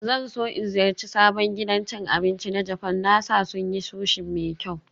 Zan so in ziyarci sabon gidan cin abinci na Japan, na sa sun yi Sushi mai kyau